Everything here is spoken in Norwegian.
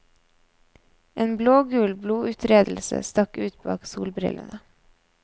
En blågul bloduttredelse stakk ut bak solbrillene.